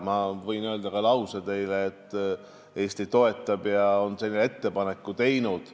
Ma võin öelda lause, et Eesti toetab karme sanktsioone ja on sellise ettepaneku teinud.